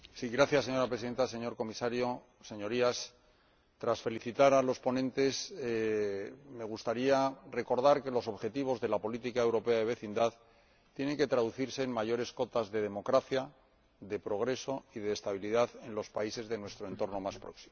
Señora Presidenta, señor Comisario, Señorías, tras felicitar a los ponentes me gustaría recordar que los objetivos de la política europea de vecindad tienen que traducirse en mayores cotas de democracia, de progreso y de estabilidad en los países de nuestro entorno más próximo.